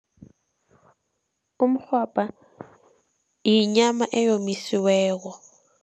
Umrhwabha yinyama eyomisiweko.